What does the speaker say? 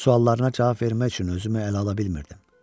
Suallarına cavab vermək üçün özümü ələ ala bilmirdim.